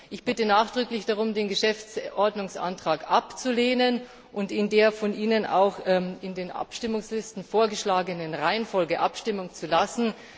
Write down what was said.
Ich bitte nachdrücklich darum, den Geschäftsordnungsantrag abzulehnen und in der von Ihnen in den Abstimmungslisten vorgeschlagenen Reihenfolge abstimmen zu lassen.